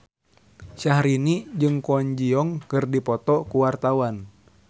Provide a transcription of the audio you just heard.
Syahrini jeung Kwon Ji Yong keur dipoto ku wartawan